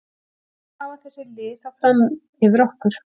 Hvað hafa þessi lið þá fram yfir okkur?